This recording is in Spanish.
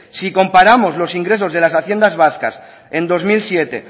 si comparamos los ingresos de las haciendas vascas en dos mil siete